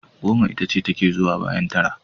Goma itace take zuwa bayan tara.